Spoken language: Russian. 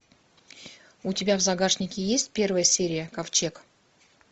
у тебя в загашнике есть первая серия ковчег